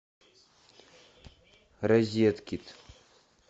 розеткид